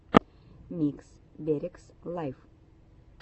микс берегс лайв